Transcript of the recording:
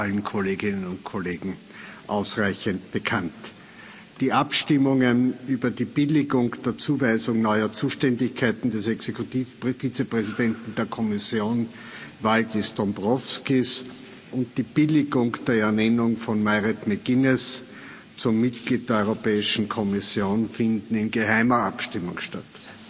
es ist allen Kolleginnen und Kollegen ausreichend bekannt. Die Abstimmungen über die Billigung der Zuweisung neuer Zuständigkeiten des Exekutiv Vizepräsidenten der Kommission Valdis Dombrovskis und die Billigung der Ernennung von Mairead McGuinness zum Mitglied der Europäischen Kommission finden in geheimer Abstimmung statt.